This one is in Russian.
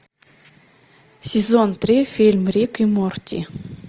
сезон три фильм рик и морти